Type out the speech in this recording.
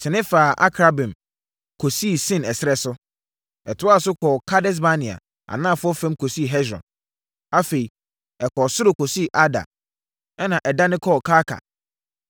tene faa Akrabbim kɔsii Sin ɛserɛ so. Ɛtoaa so kɔɔ Kades-Barnea anafoɔ fam kɔsii Hesron. Afei ɛkɔɔ soro kɔsii Adar, ɛnna ɛdane kɔɔ Karka.